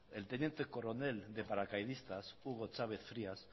el teniente coronel de paracaidistas hugo chávez frías